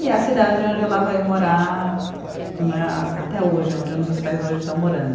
E é a cidade onde ela vai morar né, a até hoje, onde meus pais hoje estão morando.